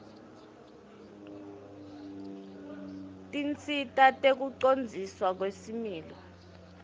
tinsita tekucondziswa kwesimilo